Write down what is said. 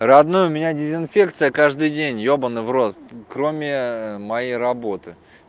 родной меня дезинфекция каждый день ебанный в рот кроме моей работы